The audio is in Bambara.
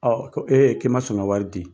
Ɔɔ ko e k'i ma son ka wari di